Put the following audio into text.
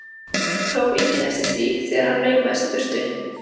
Það tók enginn eftir því þegar hann laumaðist í burtu.